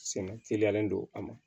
Sɛnɛ teliyalen don a ma